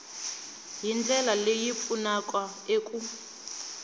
hi ndlela leyi pfunaka eku